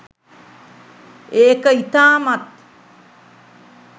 ඒක ඉතාමත්